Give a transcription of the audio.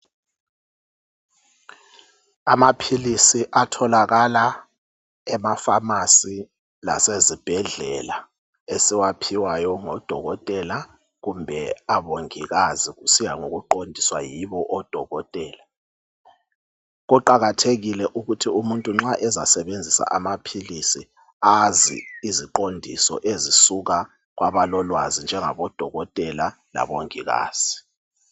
Amaphilisi atholakala ema famasi lase zibhedlela esiwaphiwayo ngo dokotela kumbe abongikazi kusiya ngokuqondiswa yibo odokotela. Kuqakathekile ukuthi umuntu nxa ezasebenzisa amaphilisi azi iziqondiso ezisuka kwabalo lwazi njengabo dokotela labongikazi.